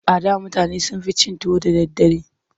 A da mutane sun fi cin tuwo da daddare.